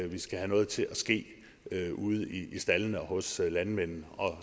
vi skal have noget til at ske ude i staldene og hos landmændene